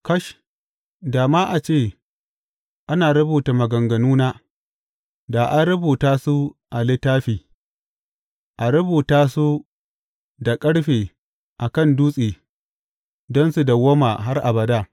Kash, da ma a ce ana rubuta maganganuna, da an rubuta su a littafi, a rubuta su da ƙarfe a kan dutse don su dawwama har abada!